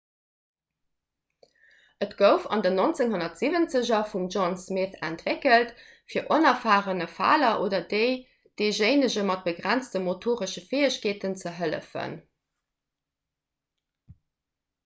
et gouf an den 1970er vum john smith entwéckelt fir onerfarene faler oder deejéinege mat begrenzte motoresche fäegkeeten ze hëllefen